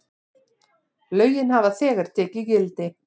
Lögin hafa þegar tekið gildi.